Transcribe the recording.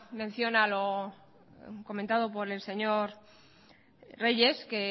mención a lo comentado por el señor reyes que